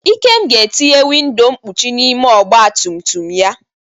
Ikem ga-etinye windo nkpuchi n'ime ọgba tum tum ya.